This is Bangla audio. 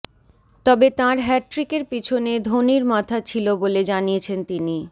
তবে তাঁর হ্যাটট্রিকের পিছনে ধোনির মাথা ছিল বলে জানিয়েছেন তিনি